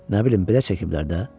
Nə bilim, belə çəkiblər də.